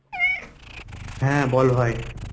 হ্যাঁ বল্ ভাই।